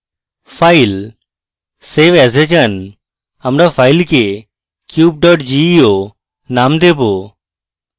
file>> save as we যান আমরা file cube geo name দেবো